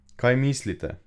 Kaj mislite!